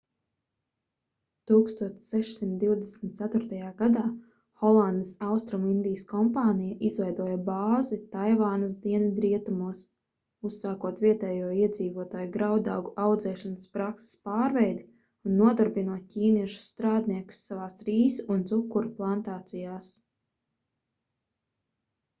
1624. gadā holandes austrumindijas kompānija izveidoja bāzi taivānas dienvidrietumos uzsākot vietējo iedzīvotāju graudaugu audzēšanas prakses pārveidi un nodarbinot ķīniešu strādniekus savās rīsu un cukura plantācijās